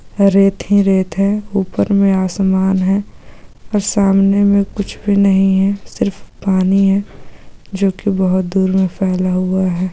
रेत ही रेत हैं ऊपर मैं आसमान हैं और सामने मैं कुछ भी नहीं हैं सिर्फ पानी हैं जोकि बहुत दूर मे फैला हुआ हैं।